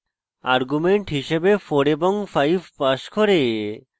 arguments হিসাবে 4 এবং 5 pass করে